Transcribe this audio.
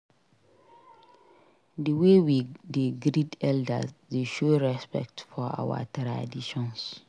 Di way we dey greet elders dey show respect for our traditions.